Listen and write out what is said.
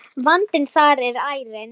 Vandinn þar er ærinn.